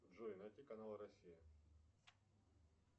джой найти канал россия